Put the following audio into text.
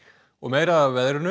og meira af veðri